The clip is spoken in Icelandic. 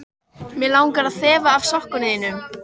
Mig langar að þefa af sokkum þínum.